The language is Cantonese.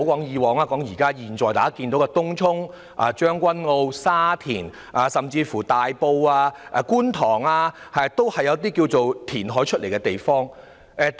現時的東涌、將軍澳、沙田甚至是大埔和觀塘，都是填海而來的。